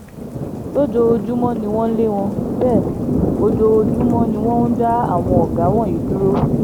lójoojúmọ́ ni wọ́n ń lé wọn bẹ́ẹ̀ ojoojúmọ́ ni wọ́n ń dá àwọn ọ̀gá wọ̀nyí dúró